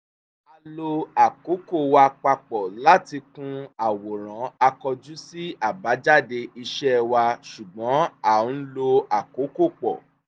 a lo àkókò wa papọ̀ láti kun àwòrán a kọjú sí àbájáde iṣẹ́ wa ṣùgbọ́n à ń lo àkókò pọ̀